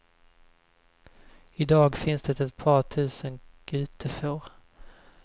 I dag finns det ett par tusen gutefår.